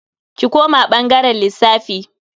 Ki koma bangaren lissafi.